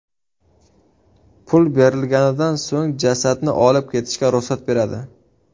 Pul berilganidan so‘ng, jasadni olib ketishga ruxsat beradi.